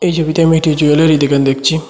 এই ছবিতে আমি একটি জুয়েলারি দোকান দেখছি।